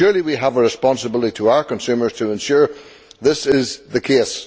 Surely we have a responsibility to our consumers to ensure that this is the case.